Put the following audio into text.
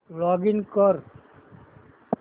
login कर